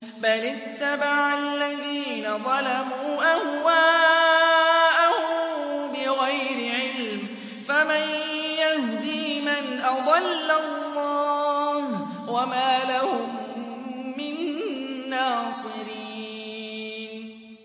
بَلِ اتَّبَعَ الَّذِينَ ظَلَمُوا أَهْوَاءَهُم بِغَيْرِ عِلْمٍ ۖ فَمَن يَهْدِي مَنْ أَضَلَّ اللَّهُ ۖ وَمَا لَهُم مِّن نَّاصِرِينَ